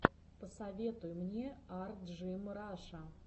посоветуй мне арджимраша